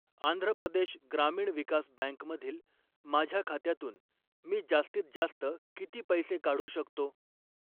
आंध्र प्रदेश ग्रामीण विकास बँक मधील माझ्या खात्यातून मी जास्तीत जास्त किती पैसे काढू शकतो?